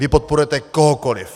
Vy podporujete kohokoliv!